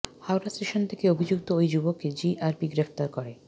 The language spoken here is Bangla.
হাওড়া স্টেশন থেকে অভিযুক্ত ওই যুবককে জিআরপি গ্রেফতার করে